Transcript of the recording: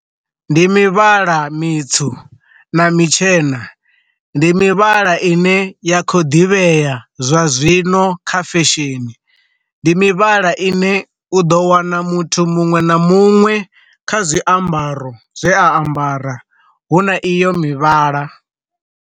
Ndi mivhala mitswu na mutshena, ndi mivhala ine ya kho ḓivhea zwa zwino kha fesheni, ndi mivhala ine u ḓo wana muthu muṅwe na muṅwe kha zwiambaro zwe a ambara hu na iyo mivhala.